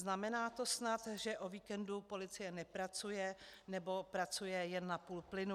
Znamená to snad, že o víkendu policie nepracuje, nebo pracuje jen na půl plynu?